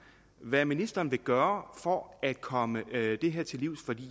hvad ministeren vil gøre for at komme det her til livs for